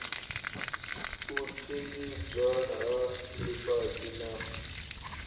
u tshimbidzwa ha ḽifhasi na